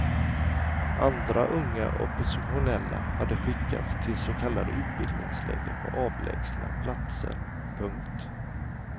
Andra unga oppositionella hade skickats till så kallade utbildningsläger på avlägsna platser. punkt